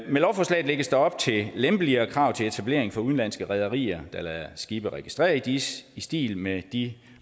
med lovforslaget lægges der op til lempeligere krav til etablering for udenlandske rederier der lader skibe registrere i dis i stil med de